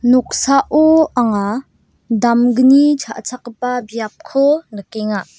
noksao anga damgni cha·chakgipa biapko nikenga.